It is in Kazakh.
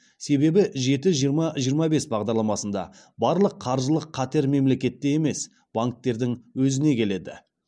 себебі жеті жиырма жиырма бес бағдарламасында барлық қаржылық қатер мемлекетке емес банктердің өзіне келеді